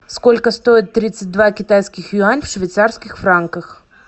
сколько стоит тридцать два китайских юань в швейцарских франках